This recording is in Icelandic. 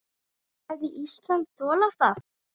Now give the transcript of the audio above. Hefði Ísland þolað það?